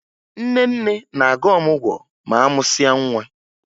Nne nne na-aga ọmụgwọ ma a mụsịa nwa